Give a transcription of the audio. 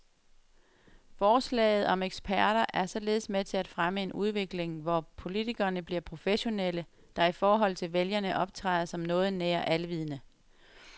Forslaget om eksperter er således med til at fremme en udvikling, hvor politikerne bliver professionelle, der i forhold til vælgerne optræder som noget nær alvidende.